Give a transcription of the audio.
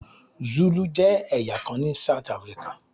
Zulu jẹ́ ẹ̀yà kan ní South Africa.